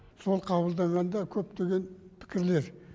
сол қабылданғанда көптеген пікірлер